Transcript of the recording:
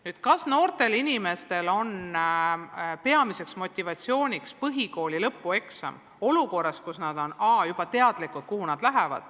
Nüüd sellest, kas noortele inimestele on põhikooli lõpueksam peamiseks motivaatoriks olukorras, kus nad juba teavad, kuhu nad edasi lähevad.